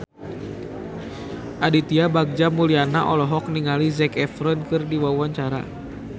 Aditya Bagja Mulyana olohok ningali Zac Efron keur diwawancara